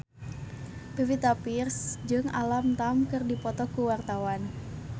Pevita Pearce jeung Alam Tam keur dipoto ku wartawan